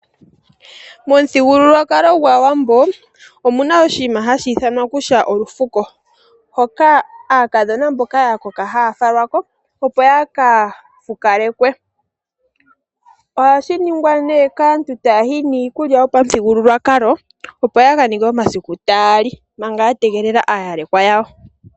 Momuthigululwakalo gwAawambo omu na oshinima hashi ithanwa olufuko, hoka aakadhona mboka ya koka haayi yaka fukalekwe , oha shi ningwa nee kaantu taya yi niikulya yopamuthigululwakalo opo yaka ninge omasiku taya li manga ya yegelela aayalekwa yawo.